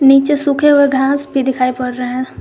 नीचे सूखे हुए घास भी दिखाई पड़ रहे हैं।